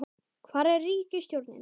hvar er ríkisstjórnin?